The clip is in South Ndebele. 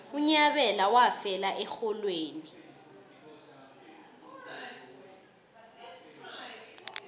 unyabela wafela erholweni